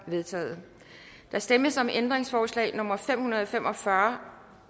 vedtaget der stemmes om ændringsforslag nummer fem hundrede og fem og fyrre